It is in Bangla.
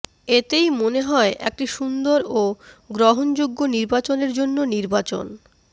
এতেই মনে হয় একটি সুন্দর ও গ্রহণযোগ্য নির্বাচনের জন্য নির্বাচন